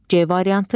C variantı.